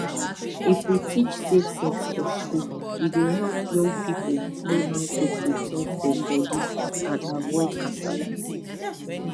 if we teach safe sex for school e go help young people know how to protect dem body and avoid kasala